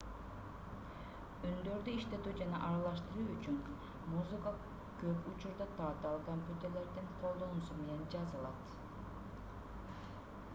үндөрдү иштетүү жана аралаштыруу үчүн музыка көп учурда татаал компьютерлердин колдонулуусу менен жазылат